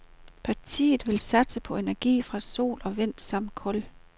Partiet vil satse på energi fra sol og vind samt kul.